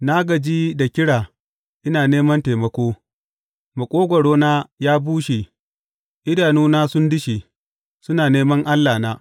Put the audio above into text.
Na gaji da kira ina neman taimako; maƙogwarona ya bushe idanuna sun dushe, suna neman Allahna.